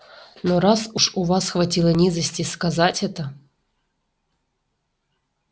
но раз уж у вас хватило низости сказать это